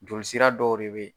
Joli sira dɔw de be yen